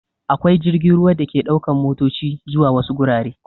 Akwai jirgin ruwa da ke ɗaukan matoci zuwa wasu gurare.